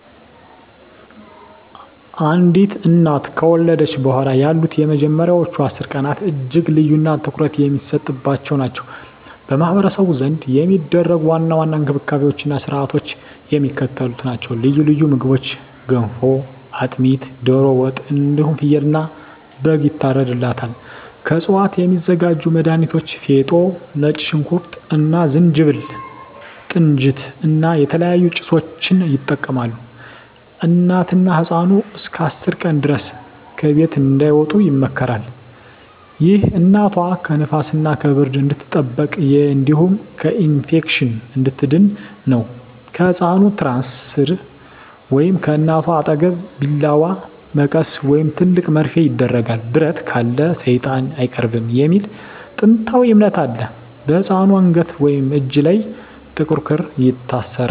አንዲት እናት ከወለደች በኋላ ያሉት የመጀመሪያዎቹ 10 ቀናት እጅግ ልዩና ትኩረት የሚሰጥባቸው ናቸው። በማኅበረሰቡ ዘንድ የሚደረጉ ዋና ዋና እንክብካቤዎችና ሥርዓቶች የሚከተሉት ናቸው፦ ልዩ ልዩ ምግቦች ገንፎ፣ አጥሚት፣ ዶሮ ወጥ እንዲሁም ፍየልና በግ ይታርድላታል። ከእፅዋት የሚዘጋጁ መድሀኒቶች ፌጦ፣ ነጭ ሽንኩርት እና ዝንጅብል፣ ጥንጅት እና የተለያዩ ጭሶችን ይጠቀማሉ። እናትና ህፃኑ እስከ 10 ቀን ድረስ ከቤት እንዳይወጡ ይመከራል። ይህ እናቷ ከንፋስና ከብርድ እንድትጠበቅ እንዲሁም ከኢንፌክሽን እንድትድን ነው። ከህፃኑ ትራስ ሥር ወይም ከእናቷ አጠገብ ቢላዋ፣ መቀስ ወይም ትልቅ መርፌ ይደረጋል። "ብረት ካለ ሰይጣን አይቀርብም" የሚል ጥንታዊ እምነት አለ። በህፃኑ አንገት ወይም እጅ ላይ ጥቁር ክር ይታሰራል።